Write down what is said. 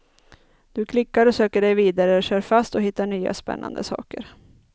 Du klickar och söker dig vidare, kör fast och hittar nya spännande saker.